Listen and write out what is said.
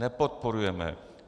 Nepodporujeme.